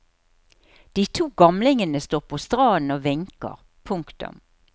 De to gamlingene står på stranden og vinker. punktum